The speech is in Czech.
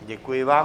Děkuji vám.